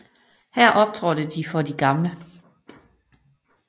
Her optrådte de for de gamle